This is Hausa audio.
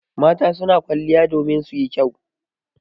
Mata su na kwaliya domin su yi kyau.